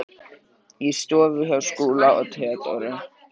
Í stofu hjá Skúla og Theodóru.